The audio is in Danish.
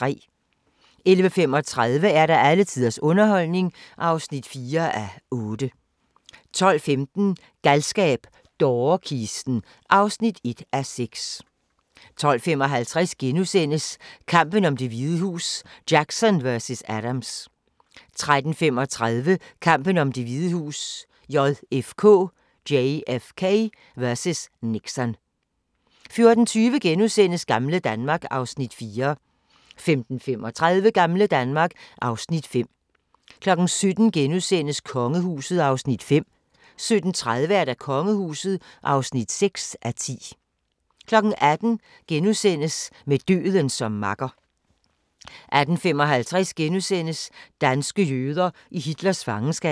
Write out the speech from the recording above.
11:35: Alle tiders underholdning (4:8) 12:15: Galskab - dårekisten (1:6) 12:55: Kampen om Det Hvide Hus: Jackson vs. Adams * 13:35: Kampen om Det Hvide Hus: JFK vs. Nixon 14:20: Gamle Danmark (Afs. 4)* 15:35: Gamle Danmark (Afs. 5) 17:00: Kongehuset (5:10)* 17:30: Kongehuset (6:10) 18:00: Med døden som makker * 18:55: Danske jøder i Hitlers fangenskab *